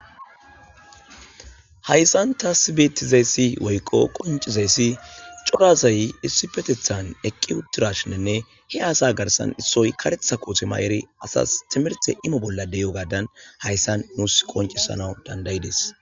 Hayssan tasibetizayssi woyqo qoncizayssi corasay issi petethan eqqi uttirashinenne he aasa garsan issoy karetha kootuma eri asas timirte imo bolla deyo gadan hayssan nuus qoncisana dandayides.